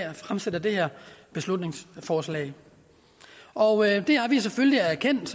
har fremsat det her beslutningsforslag og det har vi selvfølgelig erkendt